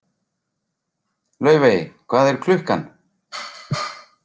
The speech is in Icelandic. Laufey, hvað er klukkan?